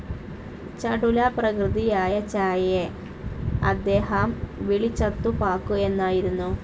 ചടുലപ്രകൃതിയായ ചായയെ അദ്ദേഹാം വിളിചത്തു പാക്കു എന്നായിരുന്നു.